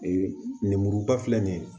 Ee lemuruba filɛ nin ye